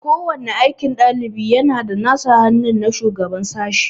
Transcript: Ko wani aikin ɗalibi yana da sa hannu na shugaban sashi.